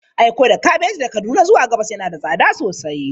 Aiko da kabeji daga Kaduna zuwa gabas yana da tsada sosai.